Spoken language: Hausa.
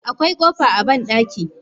Akwai kofa a bandaki.